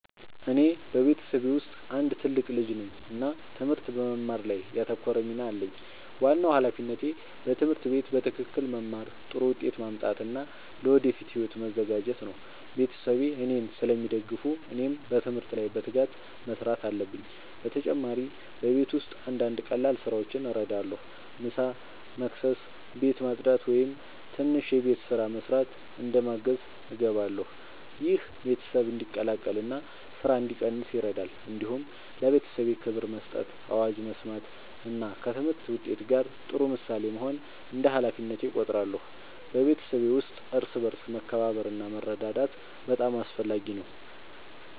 እኔ በቤተሰቤ ውስጥ አንድ ትልቅ ልጅ ነኝ እና ትምህርት በመማር ላይ ያተኮረ ሚና አለኝ። ዋናው ሃላፊነቴ በትምህርት ቤት በትክክል መማር፣ ጥሩ ውጤት ማምጣት እና ለወደፊት ሕይወቴ መዘጋጀት ነው። ቤተሰቤ እኔን ስለሚደግፉ እኔም በትምህርት ላይ በትጋት መስራት አለብኝ። በተጨማሪ በቤት ውስጥ አንዳንድ ቀላል ስራዎችን እረዳለሁ። ምሳ መስበስ፣ ቤት ማጽዳት ወይም ትንሽ የቤት ስራ መስራት እንደ ማገዝ እገባለሁ። ይህ ቤተሰብ እንዲቀላቀል እና ስራ እንዲቀንስ ይረዳል። እንዲሁም ለቤተሰቤ ክብር መስጠት፣ አዋጅ መስማት እና ከትምህርት ውጤት ጋር ጥሩ ምሳሌ መሆን እንደ ሃላፊነቴ እቆጥራለሁ። በቤተሰብ ውስጥ እርስ በርስ መከባበር እና መረዳዳት በጣም አስፈላጊ ነው።